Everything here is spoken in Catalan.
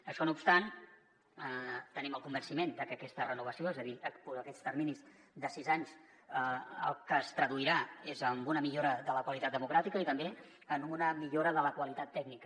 això no obstant tenim el convenciment de que aquesta renovació és a dir aquests terminis de sis anys en el que es traduiran és en una millora de la qualitat democràtica i també en una millora de la qualitat tècnica